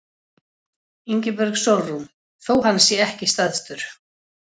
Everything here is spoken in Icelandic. Ingibjörg Sólrún: Þó hann sé ekki stærstur?